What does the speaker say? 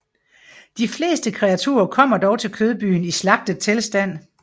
De fleste kreaturer kommer dog til Kødbyen i slagtet tilstand